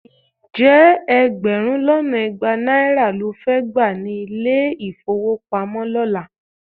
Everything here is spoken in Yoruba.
Ǹjẹ́ ẹgbẹ̀rún lọ́nà igba náírà ló fẹ́ gbà ní ilé-ìfówopamọ́ lọ́la?